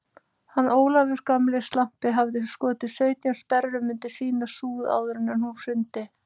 Hann Ólafur gamli slampi hafði skotið sautján sperrum undir sína súð áður en hún hrundi.